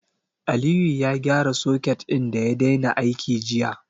Aliyu ya gyara soket ɗin da ya daina aiki jiya.